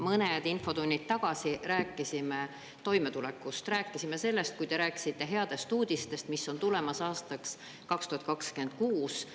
Mõned infotunnid tagasi rääkisime toimetulekust, rääkisime sellest, kui te rääkisite headest uudistest, mis on tulemas aastaks 2026.